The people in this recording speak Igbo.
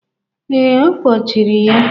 Ee, a kpochiri ya.